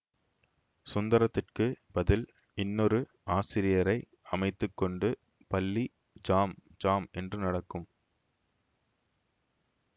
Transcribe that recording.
சுந்தரத்துக்குப் பதில் இன்னொரு ஆசிரியரை அமைத்து கொண்டு பள்ளி ஜாம் ஜாம் என்று நடக்கும்